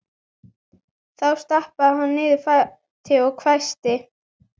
Þá stappaði hún niður fæti og hvæsti